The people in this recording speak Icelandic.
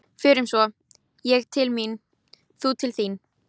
Förum svo, ég til mín, þú til þín.